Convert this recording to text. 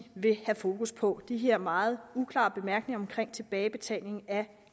vil have fokus på de her meget uklare bemærkninger om tilbagebetaling af